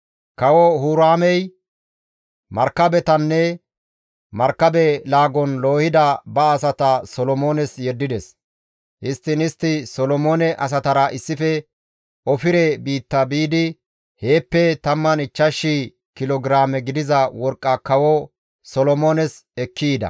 Kawo Huraamey markabetanne markabe laagon loohida ba asata Solomoones yeddides; histtiin istti Solomoone asatara issife Ofire biitta biidi heeppe 15,000 kilo giraame gidiza worqqa kawo Solomoones ekki yida.